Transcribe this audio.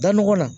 Dan nɔgɔ na